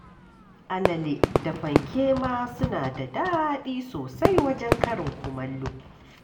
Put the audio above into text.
Alale da fanke ma suna da daɗi sosai wajen karin kumallo